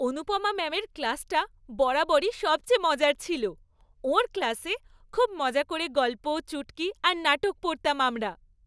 অনুপমা ম্যামের ক্লাসটা বরাবরই সবচেয়ে মজার ছিল। ওঁর ক্লাসে খুব মজা করে গল্প, চুটকি, আর নাটক পড়তাম আমরা।